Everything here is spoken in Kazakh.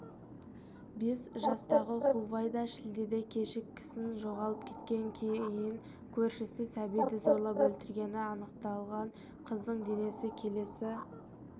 бес жастағы хувайда шілдеде кешкісін жоғалып кеткен кейін көршісі сәбиді зорлап өлтіргені анықталған қыздың денесі келесі